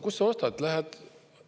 Kust sa ostad?